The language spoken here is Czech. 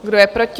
Kdo je proti?